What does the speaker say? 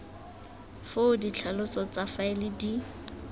foo ditlhaloso tsa faele di